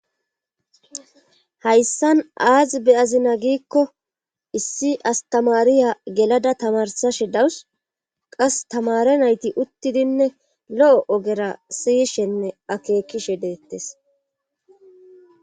Hayssan aazi beyazina giikko issi astamariya gelada tamarsashe dawus qas tamare nayti uttidinne lo'o ogera siyishenne akeekishe deettes.